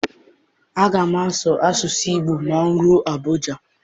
Aga m asụ asụsụ Igbo ma m rue Abuja.